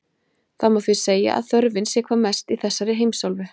Það má því segja að þörfin sé hvað mest í þessari heimsálfu.